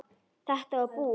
Þetta var búið.